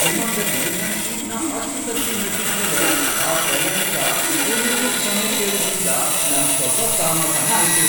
ವಿಮಾನ್ದಲ್ಲಿ ನನ್ ಸೀಟ್ನ ಅಷ್ಟ್ ಸರ್ತಿ ಮೆಟ್ಟಿದ್ಮೇಲೆ ಆ ಪ್ರಯಾಣಿಕ ಕೊನೆಗೂ ಕ್ಷಮೆ ಕೇಳಿದ್ರಿಂದ ನಂಗ್ ಸ್ವಲ್ಪ ಸಮಾಧಾನ ಆಯ್ತು.